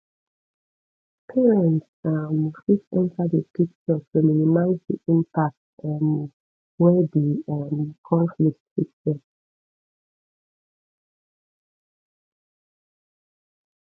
parents um fit enter di picture to minimize di impact um wen di um conflict fit get